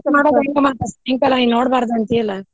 ಸಾಯಂಕಾಲ ನೀ ನೋಡ್ಬಾರ್ದ ಅಂತೀಯಲ್ಲ.